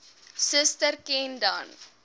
suster ken dan